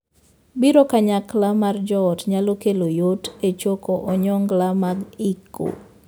Biro kanyakla mar joot nyalo kelo yot e choko onyongla mag iko.